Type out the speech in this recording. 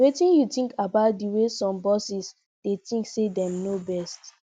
wetin you think about di way some bosses dey think say dem know best